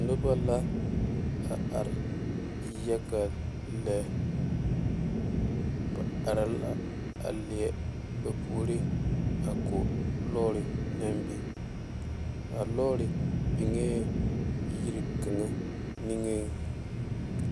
Noba la a are yaga la ba are la a leɛ ba puoriŋ ko lɔɔre naŋ big yiri kaŋa niŋ.